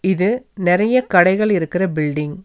இது நெறைய கடைகள் இருக்குற பில்டிங் .